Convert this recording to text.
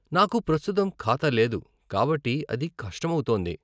నాకు ప్రస్తుతం ఖాతా లేదు కాబట్టి అది కష్టమౌతోంది.